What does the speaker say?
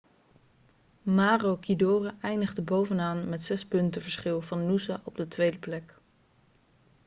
maroochydore eindigde bovenaan met zes punten verschil van noosa op de tweede plek